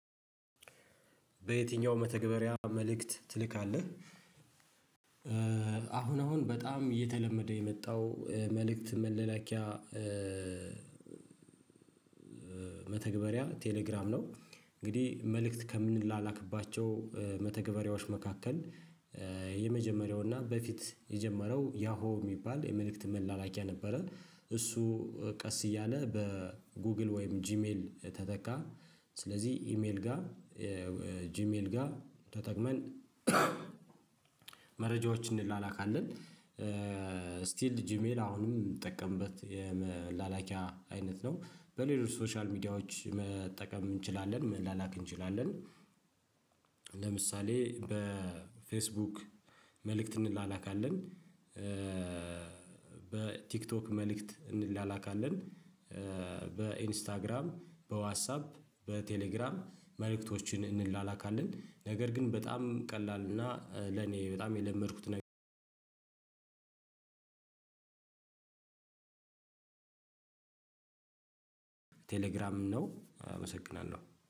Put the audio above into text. በየትኛው መተግበሪያ መልእክት ትልካለህ? አሁን አሁን በጣም እየተለመደ የመጣው መልእክት መላላኪያ መተግበሪያ ቴሌግራም ነው። እንግዲህ መልእክት ከምንላክባቸው መተግበሪያዎች መካከል የመጀመሪያውና በፊት የጀመረው ያሆ የሚባል የመልእክት መላላኪያ ነበረ። እሱ ቀስ እያለ በጉግል ወይም ጂሜል ተተካ። ስለዚህ ኢሜል ጋር፣ ጂሚል ጋ ተጠቅመን መረጃዎችን እንላላካለን። ስቲል ጂሜል አሁንም የምጠቀምበት የመላላኪያ አይነት ነው። በሌሎች ሶሻል ሚዲያዎች መጠቀም እንችላለን መላላክ እንችላለን። ለምሳሌ በፌስቡክ መልእክት እንላላካለን። በቲክቶክ መልእክት እንላላካለን፤ በኢንስታግራም፤ በዋትስአፕ፤ በቴሌግራም መልእክቶችን እንላላካለን። ነገር ግን በጣም ቀላል እና ለኔ በጣም የለመድኩት ቴሌግራም ነው አመሰግናለሁ።